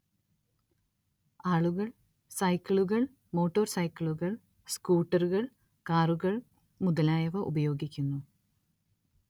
ആളുകൾ സൈക്കിളുകൾ മോട്ടോർ സൈക്കിളുകൾ സ്കൂട്ടറുകൾ കാറുകൾ മുതലായവ ഉപയോഗിക്കുന്നു